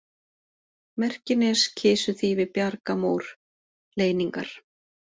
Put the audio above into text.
Merkines, Kisuþýfi, Bjargamór, Leyningar